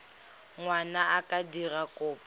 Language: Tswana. ngwana a ka dira kopo